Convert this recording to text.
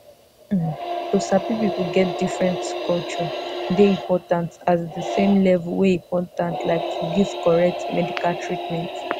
um to sabi people get different culturdey important as the same level wey important like to give correct medical treatment.